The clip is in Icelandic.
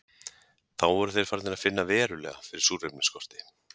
Þá voru þeir farnir að finna verulega fyrir súrefnisskorti.